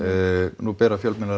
nú bera fjölmiðlar